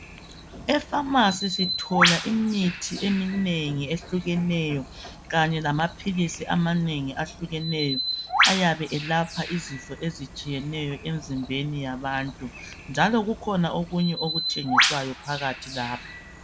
E pharmacy sithola imithi eminengi ehlukeneyo kanye lama philisi amanengi ahlukeneyo ayabe elapha izifo ezitshiyeneyo emizimbeni yabantu njalo kukhona okunye okuthengiswayo lapho